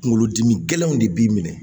Kunkolodimi gɛlɛnw de b'i minɛ